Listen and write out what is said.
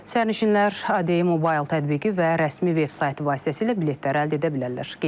Sərnişinlər ADM Mobile tətbiqi və rəsmi vebsaytı vasitəsilə biletləri əldə edə bilərlər.